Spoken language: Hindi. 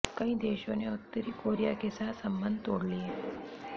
कई देशों ने उत्तरी कोरिया के साथ संबंध तोड़ लिये